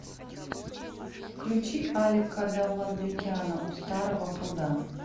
включи алика довлатбекяна у старого пруда